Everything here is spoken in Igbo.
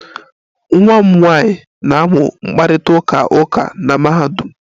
Nwa m nwanyị na-amụ mkparịta ụka uka na mahadum